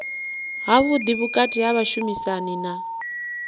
havhuḓi vhukati ha vhashumisani na